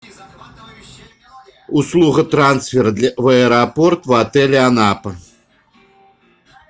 услуга трансфера в аэропорт в отеле анапа